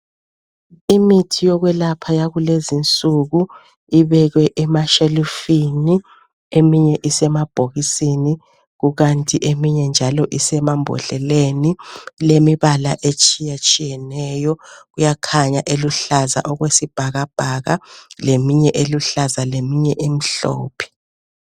imithi yokwelapha yakulezinsuku ibekwe emashelufini eminye isemabhokisini kukanti eminye njalo isemambodleleni ilemibala etshiyatshiyeneyo kuyakhanya eluhlaza okwesibhakabhaka leminye eluhlaza leminye emhlophe